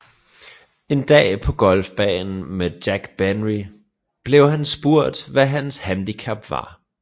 En dag på golfbanen med Jack Benny blev han spurgt hvad hans handicap var